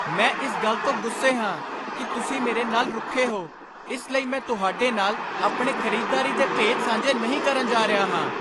ਮੈਂ ਇਸ ਗੱਲ ਤੋਂ ਗੁੱਸੇ ਹਾਂ ਕਿ ਤੁਸੀਂ ਮੇਰੇ ਨਾਲ ਬਹੁਤ ਰੁੱਖੇ ਹੋ ਇਸ ਲਈ ਮੈਂ ਤੁਹਾਡੇ ਨਾਲ ਆਪਣੇ ਖਰੀਦਦਾਰੀ ਦੇ ਭੇਦ ਸਾਂਝੇ ਨਹੀਂ ਕਰਨ ਜਾ ਰਿਹਾ ਹਾਂ।